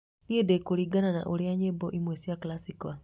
niĩ ndĩ kũringana na ũrĩa nyĩmbo imwe cia classical